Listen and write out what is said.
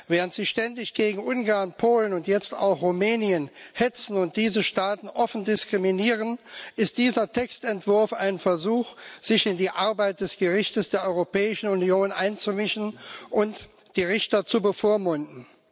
Während Sie ständig gegen Ungarn, Polen und jetzt auch Rumänien hetzen und diese Staaten offen diskriminieren, ist dieser Textentwurf ein Versuch, sich in die Arbeit des Gerichts der Europäischen Union einzumischen und die Richter zu bevormunden.